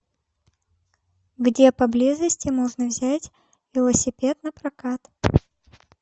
где поблизости можно взять велосипед напрокат